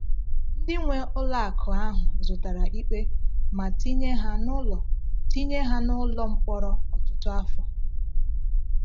Ndị nwe ụlọ akụ ahụ zụtara ikpe ma tinye ha n’ụlọ tinye ha n’ụlọ mkpọrọ ọtụtụ afọ.